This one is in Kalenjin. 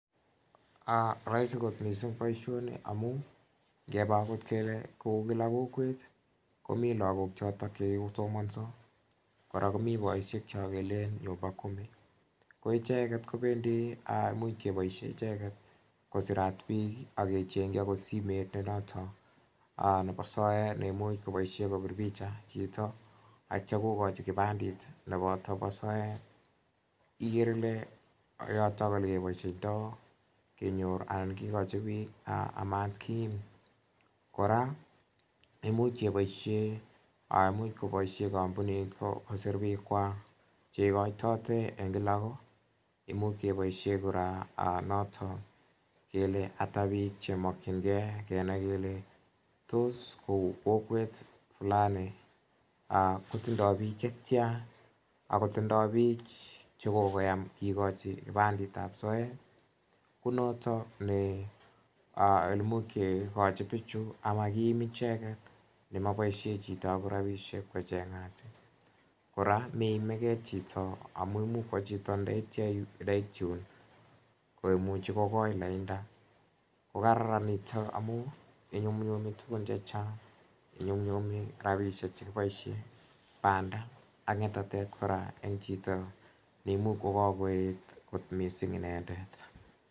Raisi kot missing' poishini amun ngepa agot kele kou kila kokwet komi lagok chotok che kikosomansa ,kora komi poishek cha kelen 'nyumba kumi' ko icheget kopendi, imuch kepaishe icheget kosirat piik ak kecheng'chi akot simet ne notok nepo soet ne imuch kopaishe kopir picha chito atia kokachi kipandet nepata pa soet ikere ile yotok ole kepaishaitai kenyor anan kikachi pik a mat kiim. Kora, imuch kepaishe, imuch kopaishe kampunit kosir piikwak che ikaitatate eng' kila ko. Imuch kepaishe kora notok kele ata pik che makchingei kenai kele tos kou kokwet flani kotindai pik che tia ako tindai pik che kokoyam kikachi kipandet ap soet. Ko notok ne imuch kikachi pichu ama kiim icheget ne mapaishe chito agot rapishek ko cheng'at. Kora meimigei chito amu imuch kowa chito ndetia ndait yun ko imuchi ko koi lainda. Ko kararan nitok amun inyumnnyumi tugun che chang'. Inyumnyumi rapishek che kipaishe eng' panda ak ng'etatet kora eng' chito ne imuch ko kakoet kot missing' inendet.